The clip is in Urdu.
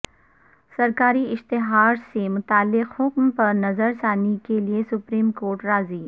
سرکاری اشتہارسے متعلق حکم پر نظر ثانی کے لئے سپریم کورٹ راضی